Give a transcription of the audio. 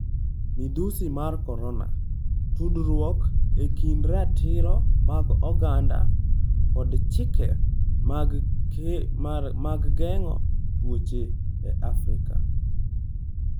Midhusi mar Korona: Tudruok e kind ratiro mag oganda kod chike mag geng'o tuoche e Afrika